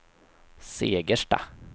Segersta